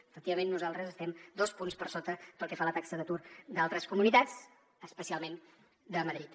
efectivament nosaltres estem dos punts per sota pel que fa a la taxa d’atur d’altres comunitats especialment de madrid